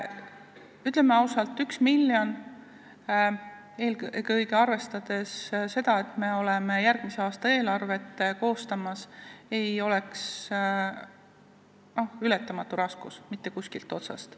Ütleme ausalt, 1 miljon, eelkõige arvestades seda, et me oleme järgmise aasta eelarvet koostamas, ei oleks ületamatu raskus mitte kuskilt otsast.